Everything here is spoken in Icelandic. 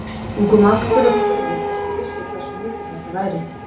Hún kom aftur og spurði hvort ég vissi hversu mikið þetta væri.